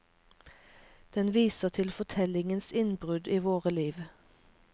Den viser til fortellingens innbrudd i våre liv.